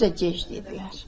Bizə gec dedilər.